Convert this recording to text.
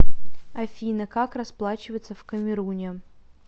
афина как расплачиваться в камеруне